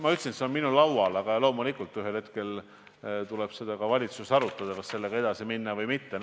Ma ütlesin, et see on minu laual, aga loomulikult tuleb ühel hetkel ka valitsuses arutada, kas minna sellega edasi või mitte.